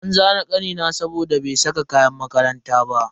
An zane kanina saboda bai saka kayan makaranta ba.